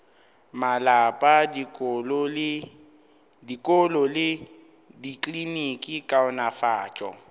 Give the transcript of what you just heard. malapa dikolo le dikliniki kaonafatšo